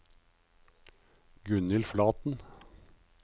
Gunhild Flaten